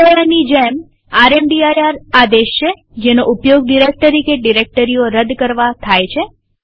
mkdirની જેમ રામદીર આદેશ છે જેનો ઉપયોગ ડિરેક્ટરી કે ડિરેક્ટરીઓ રદ કરવા થાય છે